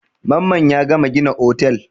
Mamman ya gama gina otel.